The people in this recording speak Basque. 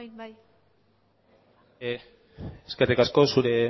bai eskerrik asko zure